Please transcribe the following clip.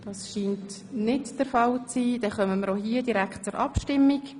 – Das ist nicht der Fall, und wir kommen auch hier direkt zur Abstimmung.